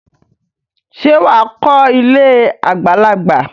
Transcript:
Ṣé wà á kọ́ ilé àwọn àgbàlagbà?